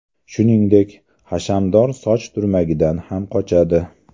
Shuningdek, hashamdor soch turmagidan ham qochadi.